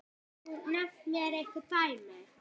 Geturðu nefnt mér einhver dæmi?